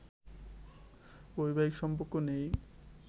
বৈবাহিক সম্পর্ক নেই